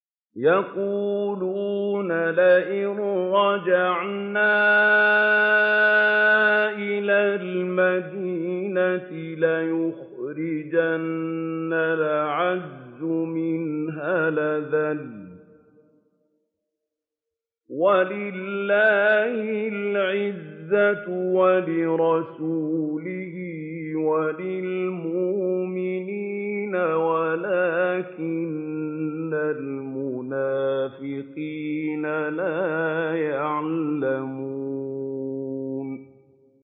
يَقُولُونَ لَئِن رَّجَعْنَا إِلَى الْمَدِينَةِ لَيُخْرِجَنَّ الْأَعَزُّ مِنْهَا الْأَذَلَّ ۚ وَلِلَّهِ الْعِزَّةُ وَلِرَسُولِهِ وَلِلْمُؤْمِنِينَ وَلَٰكِنَّ الْمُنَافِقِينَ لَا يَعْلَمُونَ